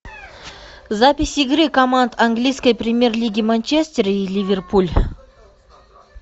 запись игры команд английской премьер лиги манчестер и ливерпуль